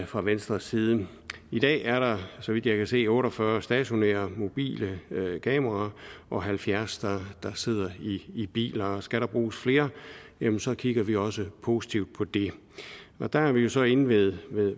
fra venstres side i dag er der så vidt jeg kan se otte og fyrre stationære og mobile kameraer og halvfjerds der sidder i biler skal der bruges flere jamen så kigger vi også positivt på det og der er vi jo så inde ved